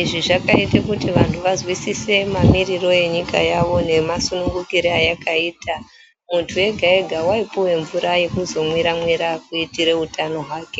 izvi zvakaite kuti vantu vazwisise mamiriro enyika yavo nemasunungukire eyakaita, muntu wega wega waipiwe mvura yekuzomwiramwira kuitire utano hwake.